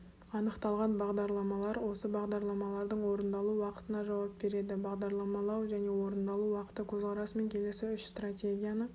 анықталған бағдарламалар осы бағдарламалардың орындалу уақытына жауап береді бағдарламалау және орындалу уақыты көзқарасымен келесі үш стратегияны